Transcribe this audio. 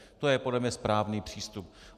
To je podle mě správný přístup.